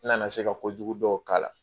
N nana se ka kojugu dɔw k'a la.